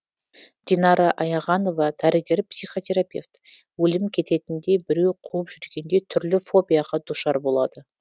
динара аяғанова дәрігер психотерапевт өлім кететіндей біреу қуып жүргендей түрлі фобияға душар болады